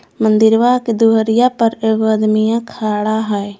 मंदिरवा के दुअरिया पर एगो आदमीया खड़ा है।